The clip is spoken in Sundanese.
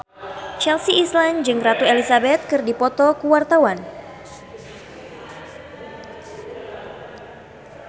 Chelsea Islan jeung Ratu Elizabeth keur dipoto ku wartawan